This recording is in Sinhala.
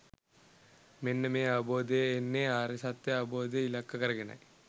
මෙන්න මේ අවබෝධය එන්නේ ආර්ය සත්‍යය අවබෝධය ඉලක්ක කරගෙනයි.